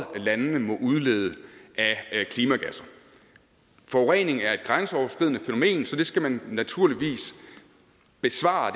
landene må udlede af klimagasser forurening er et grænseoverskridende fænomen så det problem skal man naturligvis besvare